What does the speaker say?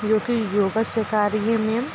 जो की योगा सिखा रही है मैम ।